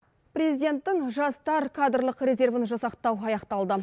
президенттің жастар кадрлық резервін жасақтау аяқталды